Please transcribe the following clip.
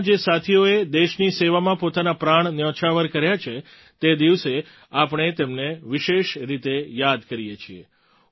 પોલીસના જે સાથીઓએ દેશની સેવામાં પોતાના પ્રાણ ન્યોચ્છાવર કર્યા છે તે દિવસે આપણે તેમને વિશેષ રીતે યાદ કરીએ છીએ